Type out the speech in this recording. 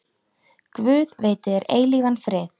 Guð veiti þér eilífan frið.